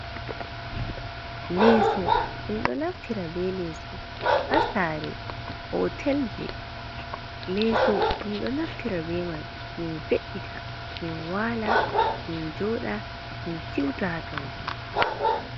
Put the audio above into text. Leso min ɗo naftira be leso ha sare hotel ji, leso min ɗo naftira be man min ve’ita min wala min joɗa min siuta ha tonton.